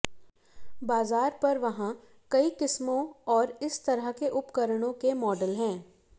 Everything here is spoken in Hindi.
बाजार पर वहाँ कई किस्मों और इस तरह के उपकरणों के मॉडल हैं